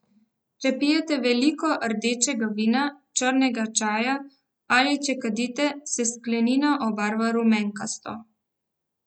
Če pijete veliko rdečega vina, črnega čaja ali če kadite, se sklenina obarva rumenkasto.